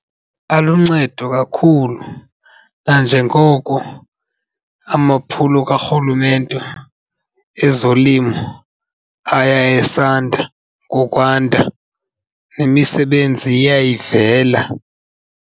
Aluncedo kakhulu, nanjengoko amaphulo karhulumente ezolimo aya esanda ngokwanda nemisebenzi iya ivela.